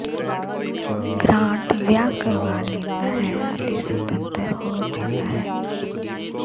grant ਵਿਆਹ ਕਰਵਾ ਲੈਂਦਾ ਹੈ ਅਤੇ ਸੁਤੰਤਰ ਹੋ ਜਾਂਦਾ ਹੈ